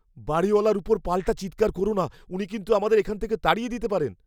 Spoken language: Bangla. বাড়িওয়ালার ওপর পাল্টা চিৎকার কোরো না। উনি কিন্তু আমাদের এখান থেকে তাড়িয়ে দিতে পারেন।